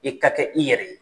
I ka kɛ i yɛrɛ ye.